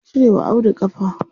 An cire wa Audu ƙafa.